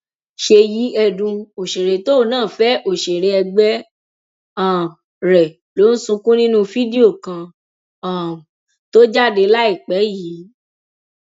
ṣèyí ẹdùn òṣèré tóun náà fẹ òṣèré ẹgbẹ um rẹ ló ń sunkún nínú fídíò kan um tó jáde láìpẹ yìí